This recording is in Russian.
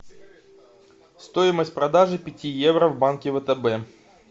стоимость продажи пяти евро в банке втб